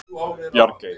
Bjargey